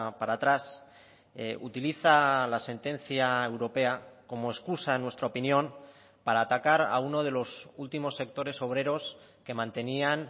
para atrás utiliza la sentencia europea como excusa en nuestra opinión para atacar a uno de los últimos sectores obreros que mantenían